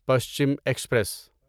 Paschim express